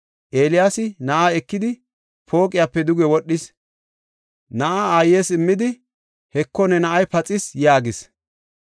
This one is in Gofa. Eeliyaasi na7aa ekidi pooqiyape duge wodhis; na7aa aayes immidi, “Heko ne na7ay paxis” yaagis.